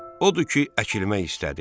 Odur ki, əkilmək istədi.